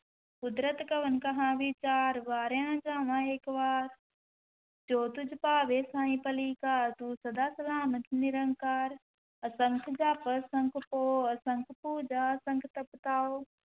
ਕੁਦਰਤਿ ਕਵਣ ਕਹਾ ਵੀਚਾਰੁ, ਵਾਰਿਆ ਨ ਜਾਵਾ ਏਕ ਵਾਰ ਜੋ ਤੁਧੁ ਭਾਵੈ ਸਾਈ ਭਲੀ ਕਾਰ, ਤੂੰ ਸਦਾ ਸਲਾਮਤਿ ਨਿਰੰਕਾਰ, ਅਸੰਖ ਜਪ ਅਸੰਖ ਭਉ, ਅਸੰਖ ਪੂਜਾ ਅਸੰਖ ਤਪ ਤਾਉ,